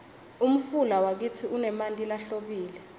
umfula wakitsi unemanti lahlobile